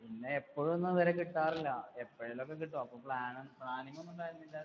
പിന്നെ എപ്പഴും ഒന്നും അവരെ കിട്ടാറില്ല. എപ്പഴെലൊക്കെ കിട്ടും. അപ്പൊ plan ഒന്നും planning ഒന്നുമുണ്ടായിരുന്നില്ല.